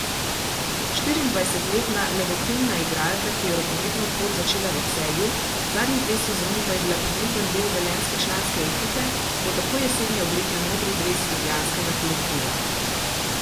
Štiriindvajsetletna levokrilna igralka, ki je rokometno pot začela v Celju, zadnji dve sezoni pa je bila pomemben del velenjske članske ekipe, bo tako jeseni oblekla modri dres ljubljanskega kolektiva.